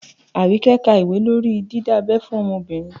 Abike ìwé lórí didabẹ́ fun obìnrin